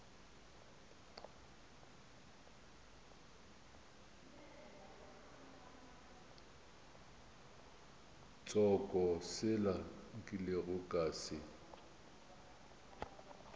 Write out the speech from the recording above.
tsoko sela nkilego ka se